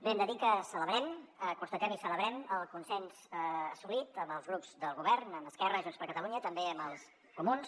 bé hem de dir que celebrem constatem i celebrem el consens assolit amb els grups del govern amb esquerra i junts per catalunya i també amb els comuns